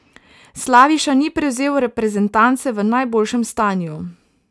Slaviša ni prevzel reprezentance v najboljšem stanju.